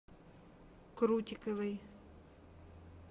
крутиковой